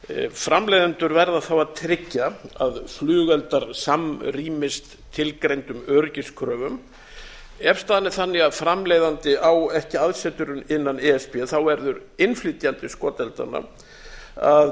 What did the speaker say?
framleiðendur verða þá að tryggja að flugeldar samrýmist tilgreindum öryggiskröfum ef staðan er þannig að framleiðandi á ekki aðsetur innan e s b verður innflytjandi skoteldanna að